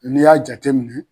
N'i y'a jateminɛ.